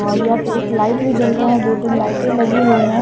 और यहां पे एक लाइट भी चल रहा है दो तीन लाइटें लगी हुई है।